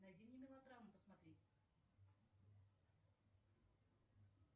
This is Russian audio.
найди мне мелодраму посмотреть